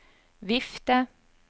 vifte